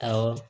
Awɔ